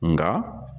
Nga